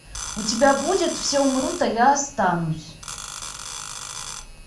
у тебя будет все умрут а я останусь